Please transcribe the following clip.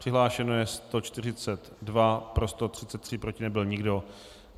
Přihlášeno je 142, pro 133, proti nebyl nikdo.